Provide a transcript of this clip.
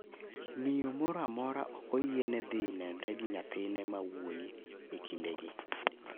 Miyo moro amora ok oyiene dhi nenre gi nyathine mawuoyi e kindegi.